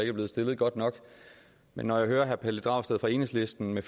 er blevet stillet godt nok men når jeg hører herre pelle dragsted fra enhedslisten